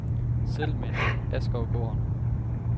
Settlementet Askovgården